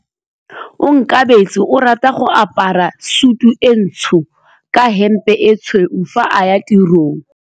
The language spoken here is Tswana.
Onkabetse o rata go apara sutu e ntsho ka hempe e tshweu fa a ya tirong.